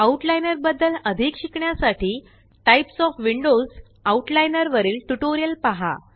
out liner बद्दल अधिक शिकण्यासाठी टाइप्स ओएफ विंडोज - आउटलाइनर वरील ट्यूटोरियल पहा